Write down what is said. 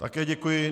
Také děkuji.